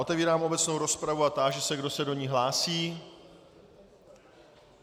Otevírám obecnou rozpravu a táži se, kdo se do ní hlásí.